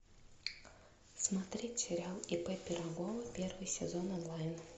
смотреть сериал ип пирогова первый сезон онлайн